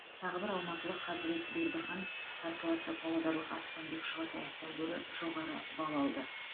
тағы бір алматылық қазірет бердіхан қарсыласы павлодарлық аспанбек шұғатаевтан гөрі жоғары балл алды